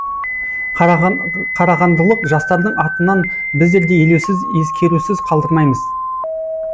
қарағандылық жастардың атынан біздер де елеусіз ескерусіз қалдырмаймыз